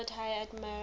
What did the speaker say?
lord high admiral